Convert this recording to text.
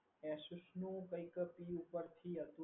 Asus નું કઈક પી ઉપરથી હતું.